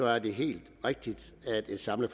er det helt rigtigt at et samlet